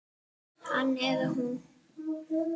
Hann eða hún